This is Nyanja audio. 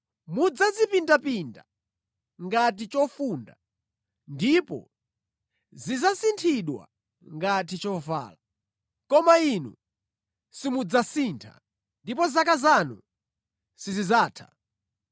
Mudzazipindapinda ngati chofunda; ndipo zidzasinthidwa ngati chovala. Koma Inu simudzasintha, ndipo zaka zanu sizidzatha.”